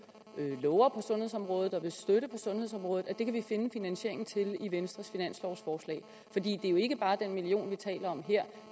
lover på sundhedsområdet og vil støtte på sundhedsområdet kan vi finde finansieringen til dem i venstres finanslovforslag det er jo ikke bare den million kroner vi taler om her